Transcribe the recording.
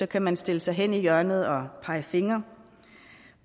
kan man stille sig hen i hjørnet og pege fingre